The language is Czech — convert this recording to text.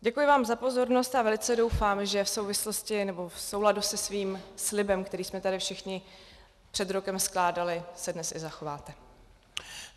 Děkuji vám za pozornost a velice doufám, že v souvislosti nebo v souladu se svým slibem, který jsme tady všichni před rokem skládali, se dnes i zachováte.